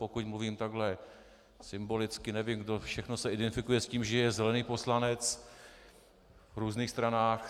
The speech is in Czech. Pokud mluvím takhle symbolicky, nevím, kdo všechno se identifikuje s tím, že je zelený poslanec v různých stranách.